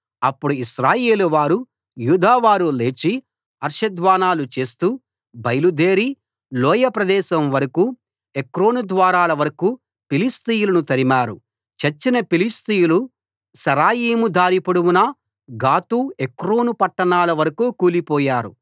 అప్పుడు ఇశ్రాయేలువారు యూదావారు లేచి హర్షధ్వానాలు చేస్తూ బయలుదేరి లోయ ప్రదేశం వరకూ ఎక్రోను ద్వారాల వరకూ ఫిలిష్తీయులను తరిమారు చచ్చిన ఫిలిష్తీయులు షరాయిం దారి పొడవునా గాతు ఎక్రోను పట్టణాల వరకూ కూలిపోయారు